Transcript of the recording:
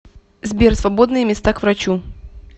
сбер свободные места к врачу